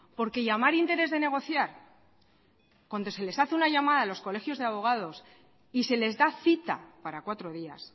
porque llamar interés de negociar cuando se les hace una llamada a los colegios de abogados y se les da cita para cuatro días